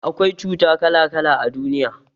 Akwai cuta kala kala a duniya